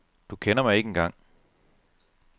Du kender mig ikke engang.